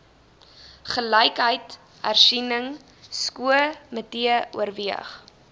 gelykheidshersieningsko mitee oorweeg